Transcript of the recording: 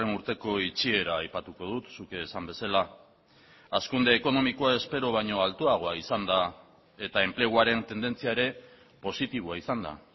urteko itxiera aipatuko dut zuk esan bezala hazkunde ekonomikoa espero baino altuagoa izan da eta enpleguaren tendentzia ere positiboa izan da